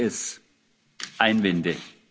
sie kurz zu